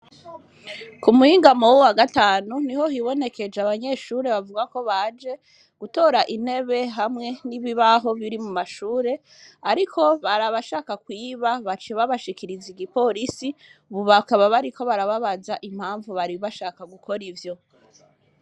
Ku muhingamo w'uwu wa gatanu, niho hibonekeje abanyeshure bavuga ko baje gutora intebe hamwe n'ibibaho biri mu mashure, ariko bari abashaka kwiba, baciye babashikiriza igiporisi, ubu bakaba bariko barababaza impamvu bari bashaka gukora ivyo.